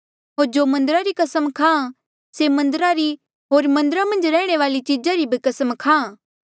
होर जो मन्दरा री कसम खाहां से मन्दरा री होर मन्दरा मन्झ रैहणे वाली चीजा री भी कसम खाहां